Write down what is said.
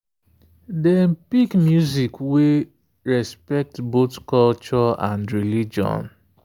dem pick music wey respect both culture and religion.